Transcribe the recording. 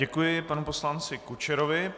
Děkuji panu poslanci Kučerovi.